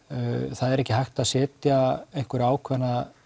það er ekki hægt að setja einhverja ákveðna